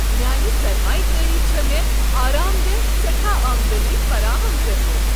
میانہ سرمایہ کٲری چھ مےٚ آرام دہ سیٹھاہ آمدنی فراہم کٔرمٕژ۔